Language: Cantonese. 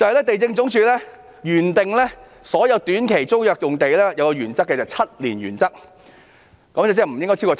地政總署原訂對所有短期租約用地採用 "7 年原則"，即租用年期不應超過7年。